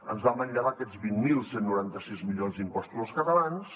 ens va manllevar aquests vint mil cent i noranta sis milions d’impostos als catalans